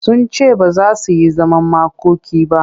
Sun ce ba za su yi zaman makoki ba.